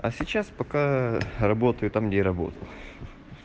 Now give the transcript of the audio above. а сейчас покаа работаю там где и работал ха-ха